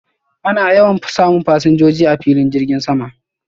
Ana yawan samun fasinjoji a filin girgin sama